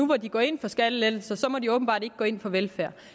hvor de går ind for skattelettelser må de åbenbart ikke gå ind for velfærd